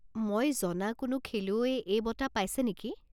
মই জনা কোনো খেলুৱৈয়ে এই বঁটা পাইছে নেকি?